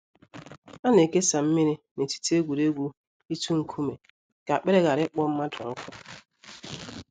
A na ekesa mmiri n’etiti egwuregwu itu nkume ka akpịrị ghara ịkpọ mmadụ nkụ.